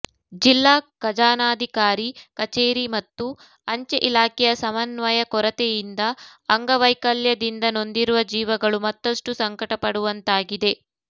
ಜಿಲ್ಲಾ ಖಜಾನಾಧಿಕಾರಿ ಕಚೇರಿ ಮತ್ತು ಅಂಚೆ ಇಲಾಖೆಯ ಸಮನ್ವಯ ಕೊರತೆಯಿಂದ ಅಂಗವೈಕಲ್ಯದಿಂದ ನೊಂದಿರುವ ಜೀವಗಳು ಮತ್ತಷ್ಟು ಸಂಕಟಪಡುವಂತಾಗಿದೆ